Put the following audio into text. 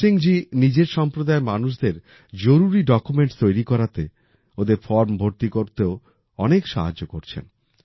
ভীমসিং জি নিজের সম্প্রদায়ের মানুষদের জরুরি ডকুমেন্টস তৈরি করাতে ওদের ফর্ম ভর্তি করতেও অনেক সাহায্য করছেন